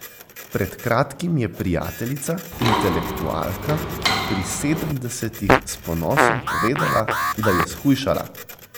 Pred kratkim je prijateljica, intelektualka, pri sedemdesetih, s ponosom povedala, da je shujšala.